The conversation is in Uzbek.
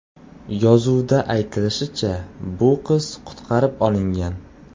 Yozuvda aytilishicha, bu qiz qutqarib olingan.